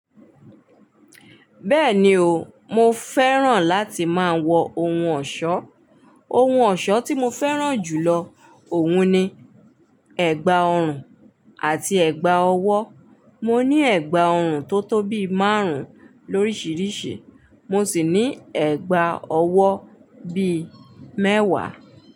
Bẹ́ẹ̀ni o, mo fẹ́ràn láti máa wọ ohun ọ̀ṣọ́. Ohun ọ̀ṣọ́ tí mo fẹ́ràn jù lọ òun ni ẹ̀gbà ọrùn àti ẹ̀gbà ọwọ́. Mo ní ẹ̀gbà ọrùn tó tó bí márùn-ún lóríṣiríṣi, mo sì ní ẹ̀gbà ọwọ́ bí mẹ́wàá.